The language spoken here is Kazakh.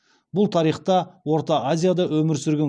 бұл тарихта орта азияда өмір сүрген